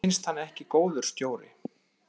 Mér fannst hann ekki góður stjóri.